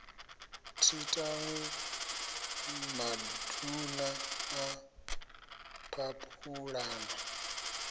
thi tanwi maduna a phaphulana